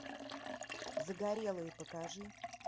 загорелые покажи